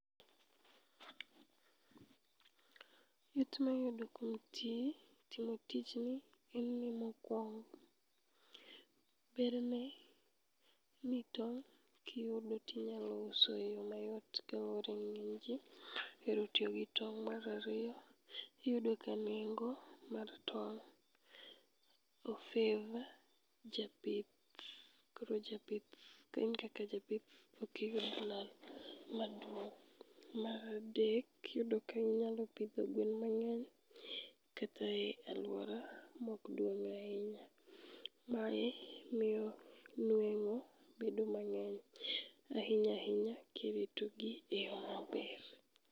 It mayudo kuom timo tijni en ni mokwong. Berne ni tong' kiyudo tinyalo uso e yo mayot kaluwore ni ng'eny ji ohero tiyo gi tong'. Marariyo, iyudo ka nengo mar tong' ofev japith, koro kain kaka japith okiyud lal maduong'. Maradek, iyudo ka inyalo pidho gwen mang'eny kata e alwora mokduong' ahinya. Mae miyo nweng'o bedo mang'eny ahinya ahinya kiritogi eyo maber.